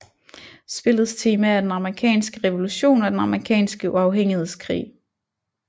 Spillets tema er den amerikanske revolution og den amerikanske uafhængighedskrig